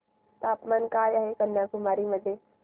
तापमान काय आहे कन्याकुमारी मध्ये